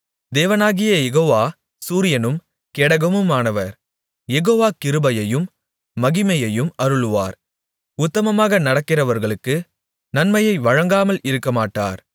தேவனாகிய யெகோவா சூரியனும் கேடகமுமானவர் யெகோவா கிருபையையும் மகிமையையும் அருளுவார் உத்தமமாக நடக்கிறவர்களுக்கு நன்மையை வழங்காமல் இருக்கமாட்டார்